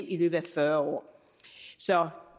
i løbet af fyrre år så